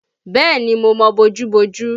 Bẹ́ẹ̀ni mo mọ bojú-bojú